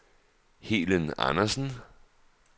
Helen Andersen